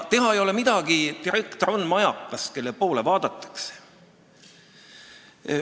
Teha ei ole midagi, direktor on majakas, kelle poole vaadatakse.